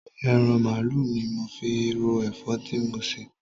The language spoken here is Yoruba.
Eran mààálu ni mo fi ro èfó ti mo sè